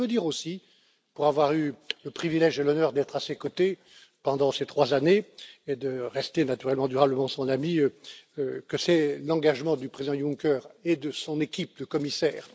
Mais je veux dire aussi pour avoir eu le privilège et l'honneur d'être à ses côtés pendant ces trois années et de rester naturellement durablement son ami que c'est l'engagement du président Juncker et de son équipe de commissaires.